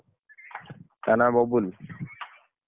ତା ନାଁ ବବୁଲ୍